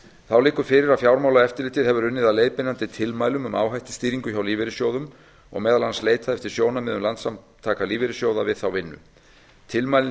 þá liggur fyrir að fjármálaeftirlitið hefur unnið að leiðbeinandi tilmælum um áhættustýringu hjá lífeyrissjóðum og meðal annars leitað eftir sjónarmiðum landssamtaka lífeyrissjóða við þá vinnu tilmælin